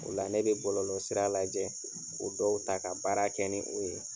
O la , ne bɛ bɔlɔlɔ sira lajɛ k'o dɔw ta ka baara kɛ ni o ye